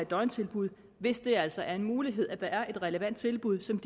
døgntilbud hvis det altså er en mulighed og der er et relevant tilbud som